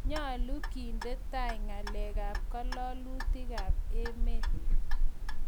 nyalu kendetai ngalec ap ngalalutikap emet